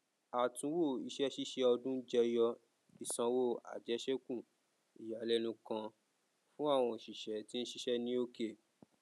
àtunwò iṣẹ ṣíṣe ọdún jẹyọ ìsanwó àjẹsékù ìyàlẹnu kan fún àwọn oṣiṣẹ tí ń ṣiṣẹ ní òkè